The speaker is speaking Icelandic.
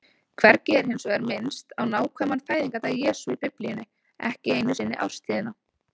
Hvergi er hins vegar minnst á nákvæman fæðingardag Jesú í Biblíunni, ekki einu sinni árstíðina.